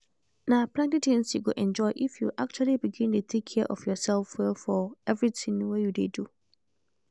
na plenty tins you go enjoy if you actually begin dey take care of yourself well for everything wey you dey do